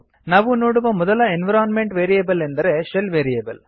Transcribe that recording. ನಾವು ನೋಡುವ ಮೊದಲ ಎನ್ವಿರೋನ್ಮೆಂಟ್ ವೇರಿಯೇಬಲ್ ಎಂದರೆ ಶೆಲ್ ವೇರಿಯೇಬಲ್